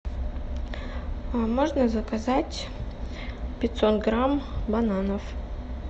можно заказать пятьсот грамм бананов